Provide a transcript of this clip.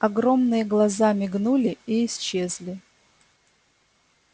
огромные глаза мигнули и исчезли